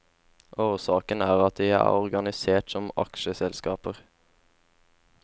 Årsaken er at de er organisert som aksjeselskaper.